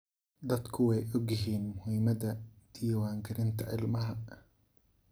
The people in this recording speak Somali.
Dadku way ogyihiin muhiimada diwaan galinta ilmaha.